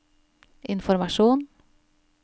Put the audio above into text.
informasjon